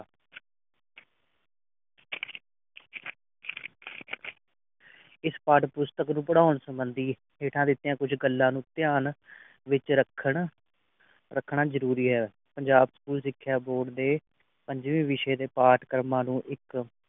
ਇਸ ਪਾਠ ਪੁਸਤਕ ਨੂੰ ਪੜ੍ਹਾਉਣ ਸਬੰਧੀ ਹੇਠਾਂ ਦਿਤੀਆਂ ਕੁਝ ਗੱਲਾਂ ਨੂੰ ਧਿਆਨ ਵਿੱਚ ਰੱਖਣ ਰੱਖਣਾ ਜਰੂਰੀ ਹੈ ਪੰਜਾਬ ਸਕੂਲ ਸਿਖਿਆ ਬੋਰਡ ਦੇ ਪੰਜਵੇ ਵਿਸ਼ੇ ਦੇ ਪਾਠ ਕਰਮਾ ਨੂੰ ਇਕ